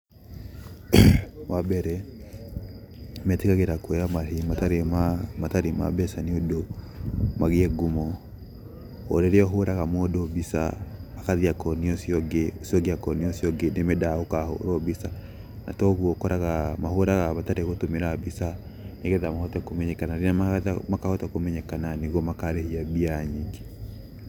Wa mbere, metĩkagĩra kwoya marĩhi matarĩ ma mbeca nĩ ũndũ magĩe ngumo. Rĩrĩa ũhũraga mũndũ mbica, agathiĩ akonia ũcio ũngĩ. Ũcio ũngĩ akonia ũcio ũngĩ nĩ mendaga gũkahũrwo mbica. Na togwo ũkoraga mahũraga matarĩ gũtũmĩra mbeca, nĩgetha mahote kũmenyekana, rĩrĩa makahota kũmenyekana nĩguo nakarĩhia mbia nyingĩ.